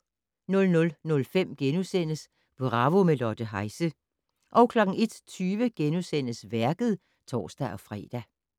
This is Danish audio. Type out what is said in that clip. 00:05: Bravo - med Lotte Heise * 01:20: Værket *(tor-fre)